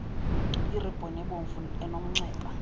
iribhoni ebomvu enomnxeba